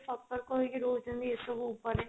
ସତର୍କ ହେଇକି ରହୁଛନ୍ତି ଏସବୁ ଉପରେ